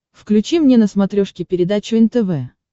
включи мне на смотрешке передачу нтв